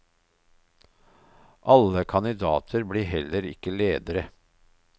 Alle kandidater blir heller ikke ledere.